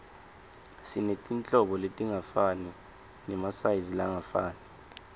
sinetinhlobo letingafani nemasayizi langafani